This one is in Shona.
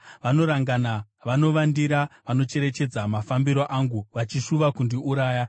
Vanorangana, vanovandira, vanocherechedza mafambiro angu, vachishuva kundiuraya.